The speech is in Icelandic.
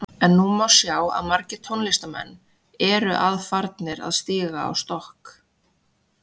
En nú má sjá að margir tónlistarmenn eru að farnir að stíga á stokk.